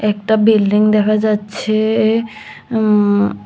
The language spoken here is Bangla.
একটা বিল্ডিং দেখা যাচ্ছে উমম--